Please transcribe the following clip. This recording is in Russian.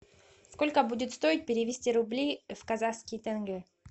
сколько будет стоить перевести рубли в казахские тенге